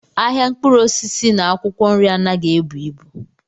Ahịa mkpụrụ osisi na akwụkwọ nri anaghị ebu ibu.